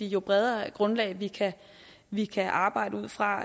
jo bredere grundlag vi kan vi kan arbejde ud fra